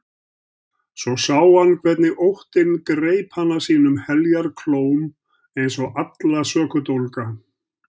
Svo sá hann hvernig óttinn greip hana sínum heljarklóm eins og alla sökudólga.